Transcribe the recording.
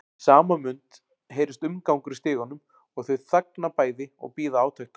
Í sama mund heyrist umgangur í stiganum og þau þagna bæði og bíða átekta.